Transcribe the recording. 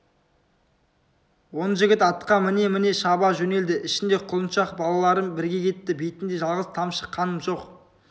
он жігіт атқа міне-міне шаба жөнелді ішінде құлыншақ балалары бірге кетті бетінде жалғыз тамшы қан жоқ